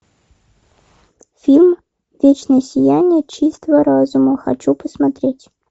фильм вечное сияние чистого разума хочу посмотреть